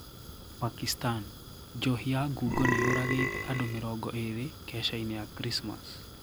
Pakistan: Njohi ya ngungo niyũragite andũ mĩrongo ĩri kesha-inĩ ya Krismas.